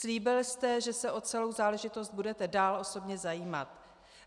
Slíbil jste, že se o celou záležitost budete dál osobně zajímat.